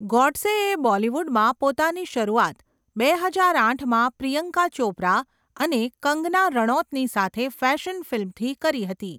ગોડસેએ બોલિવૂડમાં પોતાની શરૂઆત બે હજાર આઠમાં પ્રિયંકા ચોપરા અને કંગના રણૌતની સાથે ફેશન ફિલ્મથી કરી હતી.